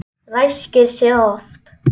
Ræskir sig oft.